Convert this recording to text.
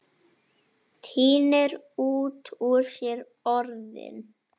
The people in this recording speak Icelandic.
Tínir út úr sér orðin.